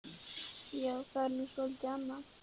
Já, það var nú svolítið annað.